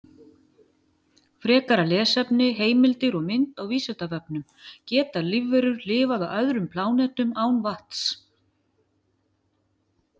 Frekara lesefni, heimildir og mynd á Vísindavefnum: Geta lífverur lifað á öðrum plánetum án vatns?